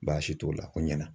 Baasi t'o la, o ɲana.